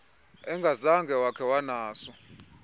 engazange wakhe wanaso